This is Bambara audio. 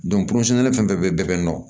fɛn fɛn bɛ bɛɛ bɛ nɔ